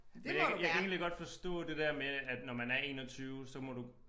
Jeg jeg kan egentlig godt forstå det der med at når man er 21 så må du